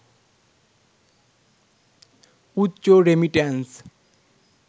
উচ্চ রেমিট্যান্স